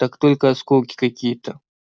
так только осколки какие-то